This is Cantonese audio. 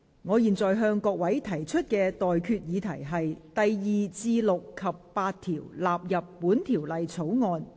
我現在向各位提出的待決議題是：第2至6及8條納入本條例草案。